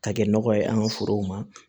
Ka kɛ nɔgɔ ye an ka forow ma